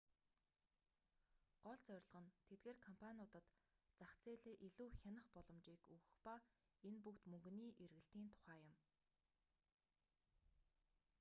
гол зорилго нь тэдгээр компаниудад зах зээлээ илүү хянах боломжийг өгөх ба энэ бүгд мөнгөний эргэлтийн тухай юм